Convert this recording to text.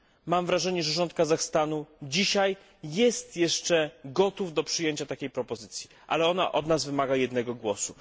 Mam wrażenie, że rząd Kazachstanu dzisiaj jest jeszcze gotów do przyjęcia takiej propozycji, ale ona od nas wymaga jednego głosu.